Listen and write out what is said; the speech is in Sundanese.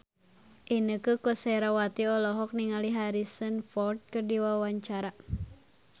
Inneke Koesherawati olohok ningali Harrison Ford keur diwawancara